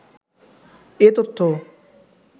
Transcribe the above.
এ তথ্য